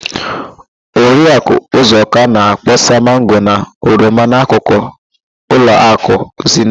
Oriakụ ụzọka na-akpọsa mango na oroma n'akụkụ ụlọakụ Zenit.